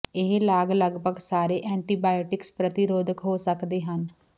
ਇਹ ਲਾਗ ਲਗਭਗ ਸਾਰੇ ਐਂਟੀਬਾਇਓਟਿਕਸ ਪ੍ਰਤੀ ਰੋਧਕ ਹੋ ਸਕਦੇ ਹਨ